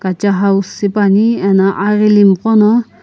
kacha house shipane ano aghili gho na.